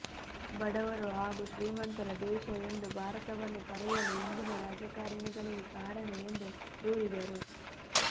ಬಡವರು ಹಾಗೂ ಶ್ರೀಮಂತರ ದೇಶ ಎಂದು ಭಾರತವನ್ನು ಕರೆಯಲು ಇಂದಿನ ರಾಜಕಾರಣಿಗಳೇ ಕಾರಣ ಎಂದು ದೂರಿದರು